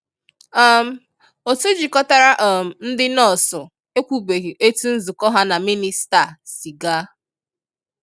um otụ jikọtara um ndị nọọsụ ekwubeghi etu nzukọ ha na mịnịsta a si gaa.